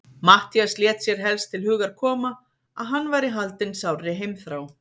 Matthías lét sér helst til hugar koma, að hann væri haldinn sárri heimþrá.